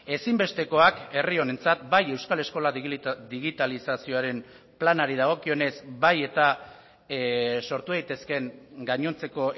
ezinbestekoak herri honentzat bai euskal eskola digitalizazioaren planari dagokionez bai eta sortu daitezkeen gainontzeko